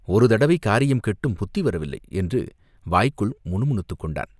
ஒரு தடவை காரியம் கெட்டும் புத்தி வரவில்லை!" என்று வாய்க்குள் முணு முணுத்துக் கொண்டான்.